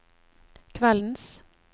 kveldens